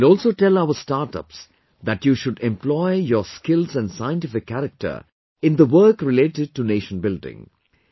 I will also tell our startups that you should employ your skills and scientific character in the work related to nationbuilding